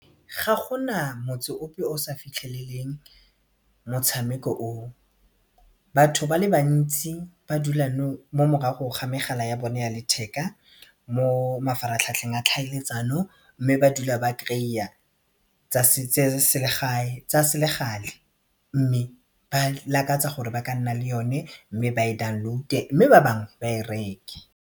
Ga gona motse ope o sa fitlheleleng motshameko o o, batho ba le bantsi ba dula mo morago ga megala ya bone ya letheka mo mafaratlhatlheng a tlhaeletsano mme ba dula ba kry-a tsa tsa selegale mme ba lakatsa gore ba ka nna le yone ba e download-e mme ba bangwe ba e reke.